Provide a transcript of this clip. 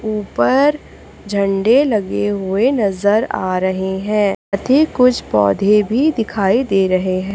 ऊपर झंडे लगे हुए नजर आ रहे हैं। अधिक कुछ पौधे भी दिखाई दे रहे हैं।